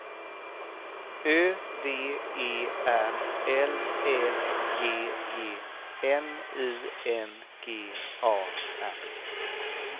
Ö V E R L Ä G G N I N G A R